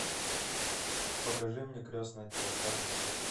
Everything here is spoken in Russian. покажи мне крестный отец аш ди